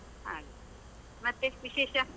ಹಾಗೆ ಮತ್ತೆ ವಿಶೇಷ?